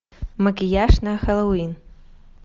макияж на хеллоуин